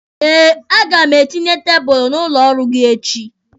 Eh, a ga m etinye tebulu n'ụlọ ọrụ gị echi.